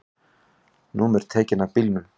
Númer tekin af bílum